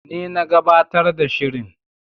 Ni na gabatar da shirin.